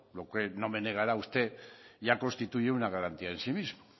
lo que es no me negará usted ya constituye una garantía en sí mismo